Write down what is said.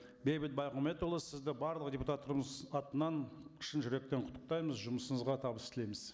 бейбіт баймағамбетұлы сізді барлық депутаттарымыз атынан шын жүректен құттықтаймыз жұмысыңызға табыс тілейміз